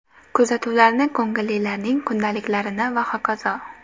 Kuzatuvlarni, ko‘ngillilarning kundaliklarini va hokazo.